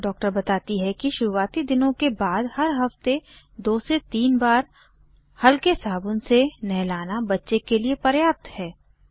doctor बताती है कि शुरूआती दिनों के बाद हर हफ्ते 2 से 3 बार हल्के साबुन से नहलाना बच्चे के लिए पर्याप्त है